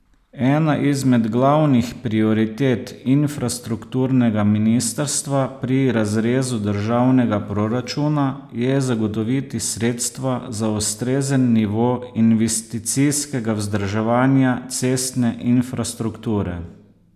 Ena izmed glavnih prioritet infrastrukturnega ministrstva pri razrezu državnega proračuna je zagotoviti sredstva za ustrezen nivo investicijskega vzdrževanja cestne infrastrukture.